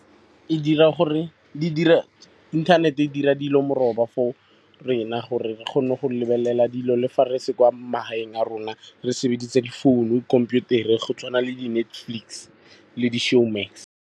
Inthanete dira dilo meroba for rena gore re kgone go lebelela dilo le fa re se kwa magaeng a rona. Re sebedisa difounu, khomputere go tshwana le di-Netflix le di-Showmax.